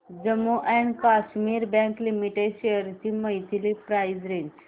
Jammu and Kashmir bank limited shares ची monthly price range